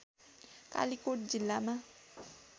कालिकोट जिल्लामा